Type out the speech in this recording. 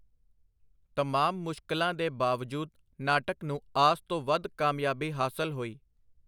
ਤਮਾਮ ਮੁਸ਼ਕਲਾਂ ਦੇ ਬਾਵਜੂਦ ਨਾਟਕ ਨੂੰ ਆਸ ਤੋਂ ਵਧ ਕਾਮਯਾਬੀ ਹਾਸਲ ਹੋਈ.